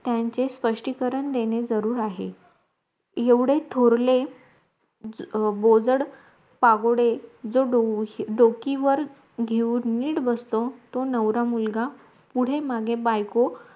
त्यांचे स्पष्टीकरण देणे जरूर आहेत एवढे थोरले बोजड पागोडे जर डोकं डोकीवर घेऊन निट बसतो तो नवरा मुलगा पुढे माघे बायको